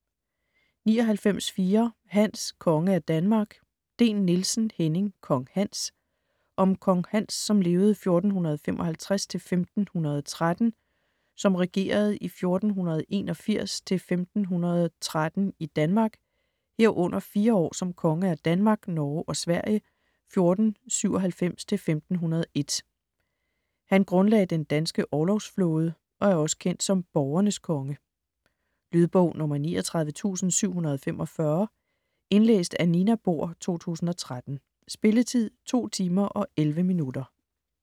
99.4 Hans: konge af Danmark Dehn-Nielsen, Henning: Kong Hans Om kong Hans (1455-1513), som regerede 1481-1513 i Danmark, herunder 4 år som konge af Danmark, Norge og Sverige 1497-1501. Han grundlagde den danske orlogsflåde og er også kendt som borgernes konge. Lydbog 39745 Indlæst af Nina Bohr, 2013. Spilletid: 2 timer, 11 minutter.